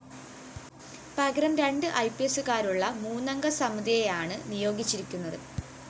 പകരം രണ്ട് ഐപിഎസുകാരുള്ള മൂന്നംഗ സമിതിയെയാണ് നിയോഗിച്ചിരിക്കുന്നത്